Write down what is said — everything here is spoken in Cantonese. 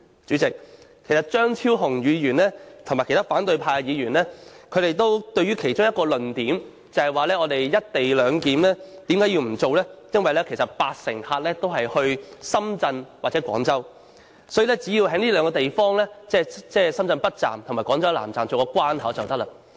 主席，張超雄議員和其他反對派議員堅持不實施"一地兩檢"的其中一個論點是，因為八成乘客也是來往香港與深圳或廣州，因此，只要在這兩個地方，即深圳北站和廣州南站設置關口便可以。